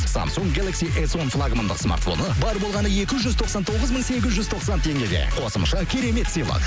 самсунг гелакс эс он флагмандық смартфоны бар болғаны екі жүз тоқсан тоғыз мың сегіз жүз тоқсан теңгеге қосымша керемет сыйлық